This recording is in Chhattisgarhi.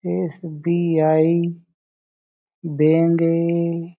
S B I bank A--